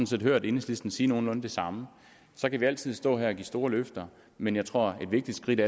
set hørt enhedslisten sige nogenlunde det samme så kan vi altid stå her og give store løfter men jeg tror at et vigtigt skridt